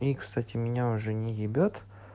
и кстати меня уже не ебет